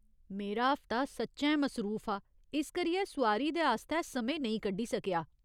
मेरा हफ्ता सच्चैं मसरूफ हा, इस करियै सुआरी दे आस्तै समें नेईं कड्ढी सकेआ।